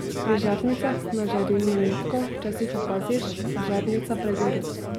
Pri žarnicah na žarilno nitko včasih opaziš, da žarnica pregori.